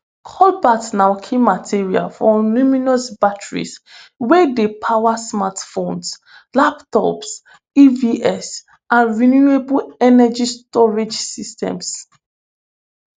cobalt na key material for lithiumion batteries wey dey power smartphones laptops evs and renewable energy storage systems